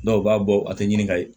u b'a bɔ a tɛ ɲini ka ye